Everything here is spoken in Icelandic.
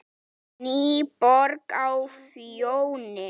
NÝBORG Á FJÓNI